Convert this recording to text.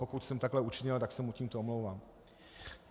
Pokud jsem takto učinil, tak se mu tímto omlouvám.